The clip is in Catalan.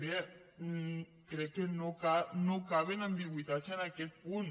bé crec que no caben ambigüitats en aquest punt